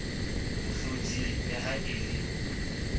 mohloding le ha e le